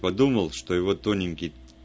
подумал что его тоненький